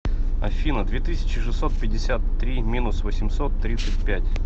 афина две тысячи шестьсот пятьдесят три минус восемьсот тридцать пять